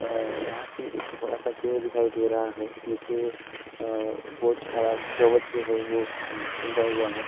अअअ यहाँ पे एक बड़ा सा पेड़ दिखाई दे रहा है नीचे अअअ इसमें बहोत सारा घास जो है वह उगा हुआ है।